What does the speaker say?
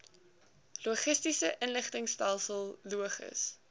logistiese inligtingstelsel logis